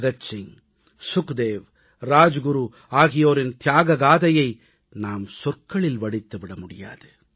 பகத்சிங் சுக்தேவ் ராஜகுரு ஆகியோரின் தியாகக் கதையை நாம் சொற்களில் வடித்து விட முடியாது